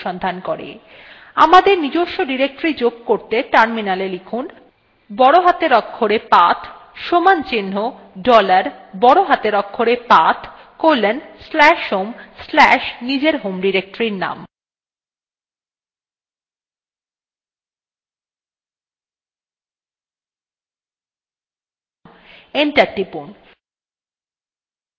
বড় হাতের অক্ষরে path সমান চিন্হ dollar বড় হাতের অক্ষরে path colon slash home slash নিজের home ডিরেক্টরীর name enter টিপুন